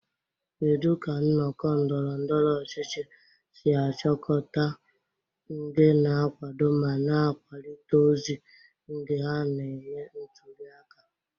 Kedu ka nnọkọ ndọrọ ndọrọ ọchịchị si achịkọta ndị na-akwado ma na-akwalite ozi ndị ha na-eme ntuli aka?